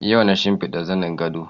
Yau na shimfiɗa zanin gado